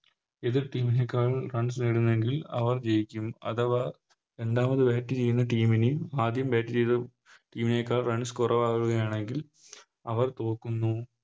എതിർ Team നേക്കാൾ Runs നേടുന്നതെങ്കിൽ അവർ ജയിക്കും അഥവാ രണ്ടാമത് Bat ചെയ്യുന്ന Team ന് ആദ്യം Bat ചെയ്ത Team നേക്കാൾ Runs കുറവാവുകയാണെങ്കിൽ അവർ തോക്കുന്നു